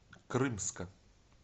крымска